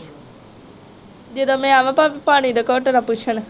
ਜਦੋ ਮੈ ਆਵਾ ਭਾਵੇ ਪਾਣੀ ਦਾ ਘੁੱਟ ਨਾ ਪੁੱਛਣ